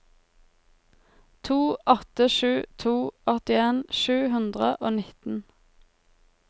to åtte sju to åttien sju hundre og nitten